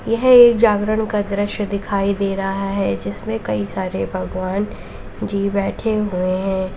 यह एक जागरण का दृश्य दिखाई दे रहा है जिसमें कई सारे भगवान जी बैठे हुए हैं।